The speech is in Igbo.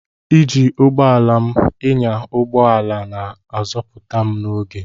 Iji ụgbọ ala m ịnya ụgbọ ala na-azọpụta m oge.